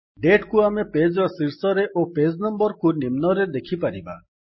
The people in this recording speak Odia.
Dateକୁ ଆମେ ପେଜ ର ଶୀର୍ଷରେ ଓ ପେଜ୍ ନମ୍ୱର୍ କୁ ନିମ୍ନରେ ଦେଖିପାରିବା